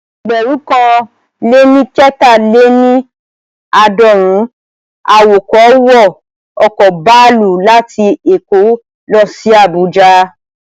Ẹgbẹ̀rún kan lé ní kẹta-lé-ní-aadorun awọkọ̀ wọ ọ̀kọ̀ baluu láti èkó lọ sí Àbújá